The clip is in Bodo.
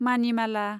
मानिमाला